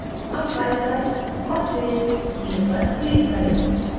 अब file पर और फिर new पर click करें